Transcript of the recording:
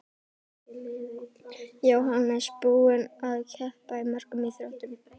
Jóhannes: Búinn að keppa í mörgum íþróttum?